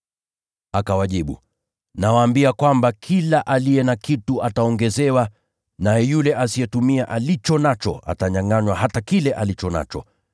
“Akawajibu, ‘Nawaambia kwamba kila aliye na kitu, ataongezewa. Lakini yule asiye na kitu, hata alicho nacho atanyangʼanywa.